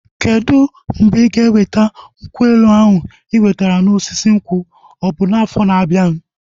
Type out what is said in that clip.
Kedụ mgbe ịga eweta nkwụ elu ahụ ị nwetara na osisi nkwụ? Ọ bụ afọ na abianu